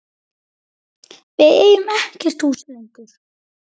Við eigum ekkert hús lengur.